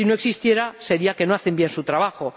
Si no existiera, sería que no hacen bien su trabajo.